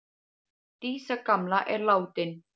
Dísa gamla er látin.